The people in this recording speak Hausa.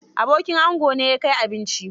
Abokin ango ne ya kai abinci.